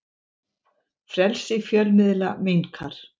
Frelsi fjölmiðla minnkar